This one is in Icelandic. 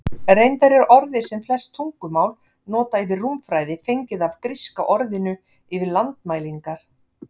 Reyndar er orðið sem flest tungumál nota yfir rúmfræði fengið af gríska orðinu yfir landmælingar.